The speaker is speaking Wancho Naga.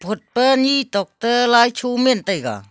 phot pe ni chok toh lai tho men taiga.